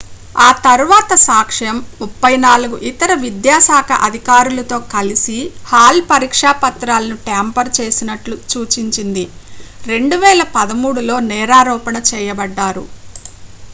ఆ తర్వాత సాక్ష్యం 34 ఇతర విద్యాశాఖ అధికారులతో కలిసి హాల్ పరీక్షపత్రాలను ట్యాంపర్ చేసినట్లు సూచించింది 2013లో నేరారోపణ చేయబడ్డారు